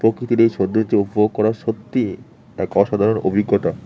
প্রকৃতির এই সৌন্দর্য উপভোগ করা সত্যি এক অসাধারণ অভিজ্ঞতা।